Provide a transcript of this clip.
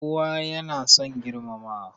Kowa ya na son girmamawa